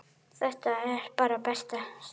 Þetta er bara fyrsta stigið.